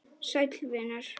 Sæll vinur